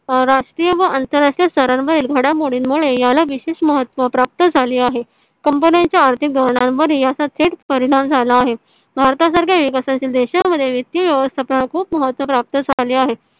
अं राष्ट्रीय व आंतर राष्ट्रीय स्तरावरील घडामोडी मुळे याला विशेष महत्व प्राप्त झाले आहे. कंपन्यांच्या आर्थिक धोरणावर याचा थेट परिणाम झाला आहे. भरता सारख्या विकसण शील देशा मध्ये वित्तीय व्यवस्था महत्व प्राप्त झाले आहे.